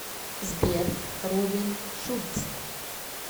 сбер робин шульц